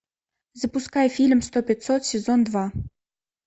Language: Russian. запускай фильм сто пятьсот сезон два